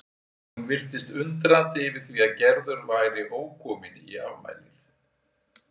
Hún virtist undrandi yfir því að Gerður væri ókomin í afmælið.